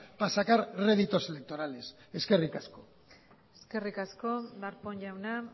para sacar réditos electorales eskerrik asko eskerrik asko darpón jauna